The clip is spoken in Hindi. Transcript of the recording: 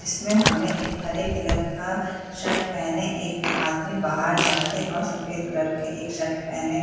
इसमें हमें एक हरे कलर का शर्ट पहने एक आदमी बाहर जाते और सफेद कलर के एक शर्ट पहने --